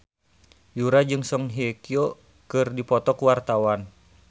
Yura jeung Song Hye Kyo keur dipoto ku wartawan